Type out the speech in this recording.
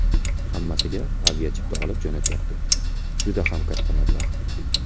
Hammasiga aviachipta olib jo‘natyapti – juda ham katta mablag‘.